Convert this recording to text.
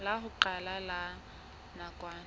la ho qala la nakwana